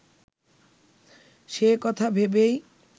সে কথা ভেবেই